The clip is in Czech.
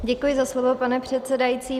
Děkuji za slovo, pane předsedající.